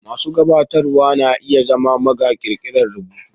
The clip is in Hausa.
Masu gabatarwa na iya zama maga ƙirƙirar rubutu.